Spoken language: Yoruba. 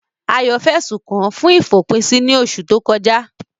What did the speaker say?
Ayo fẹ̀sùn kàn án fún ìfòpinsí ní oṣù tó kọjá.